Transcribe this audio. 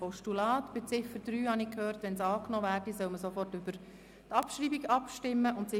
Zu Ziffer 3 habe ich gehört, dass im Fall einer Annahme sofort über die Abschreibung abgestimmt werden soll.